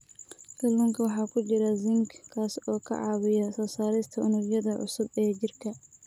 Kalluunka waxaa ku jira zinc, kaas oo ka caawiya soo saarista unugyada cusub ee jirka.